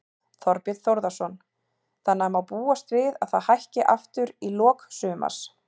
Þorbjörn Þórðarson: Þannig að má búast við að það hækki aftur í lok sumars?